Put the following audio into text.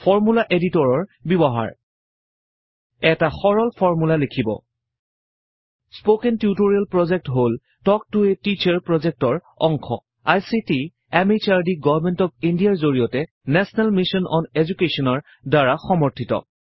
formula এডিটৰৰ ব্যৱহাৰ এটা সৰল ফৰ্মূলা লিখিব স্পকেন টিউটৰিয়েল প্ৰজেক্ট হল টক টু অ টিচাৰ প্ৰজেক্টৰ অংশ ICT MHRD government of India জড়িয়তে নেশ্যনেল মিছন অন এডুকেশ্যন দ্বাৰা সমৰ্থিত